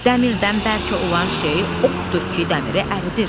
Dəmirdən bərk olan şey oddur ki, dəmiri əridir.